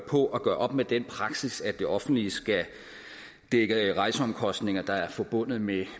på at gøre op med den praksis at det offentlige skal dække de rejseomkostninger der er forbundet med